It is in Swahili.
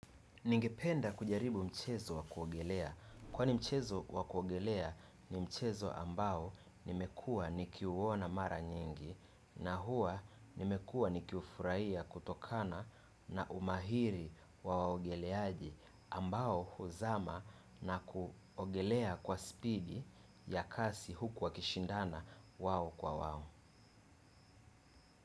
Ningependa kujaribu mchezo wa kuogelea. Kwani mchezo wa kuogelea ni mchezo ambao nimekua nikiuwona mara nyingi na huwa nimekuwa nikiufuraiya kutokana na umahiri wa waogeleaji ambao huzama na kuogelea kwa spidi ya kasi huku wakishindana wao kwa wao.